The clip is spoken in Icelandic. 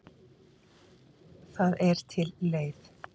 Það er til leið.